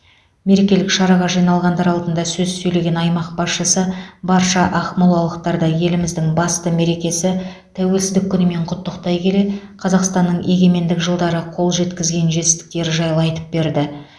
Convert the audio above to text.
мерекелік шараға жиналғандар алдында сөз сөйлеген аймақ басшысы барша ақмолалықтарды еліміздің басты мерекесі тәуелсіздік күнімен құттықтай келе қазақстанның егемендік жылдары қол жеткізген жетістіктері жайлы айтып берді